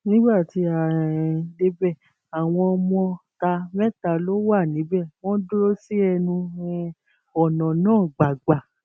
nígbà tí a um débẹ àwọn ọmọọta mẹta ló wà níbẹ wọn dúró sí ẹnu um ọnà náà gbàgbà